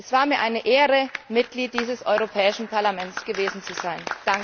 Es ist mir ein Ehre, Mitglied dieses Europäischen Parlaments gewesen zu sein.